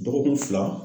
Dɔgɔkun fila